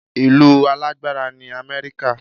Ìlú alágbára ni Amẹ́ríkà